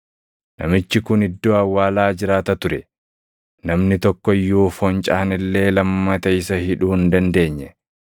Namichi kun iddoo awwaalaa jiraata ture; namni tokko iyyuu foncaan illee lammata isa hidhuu hin dandeenye.